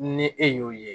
Ni e y'o ye